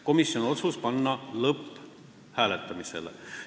Komisjoni otsus on panna eelnõu lõpphääletusele.